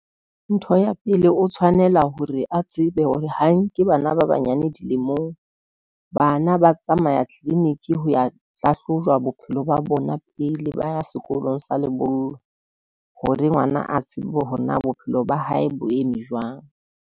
Ntho ya pele o tshwanela hore a tsebe hore ha nke bana ba banyane dilemong, bana ba tsamaya clinic ho ya hlahlojwa bophelo ba bona pele ba ya sekolong sa lebollo, hore ngwana a tsebe hore na bophelo ba hae bo eme jwang.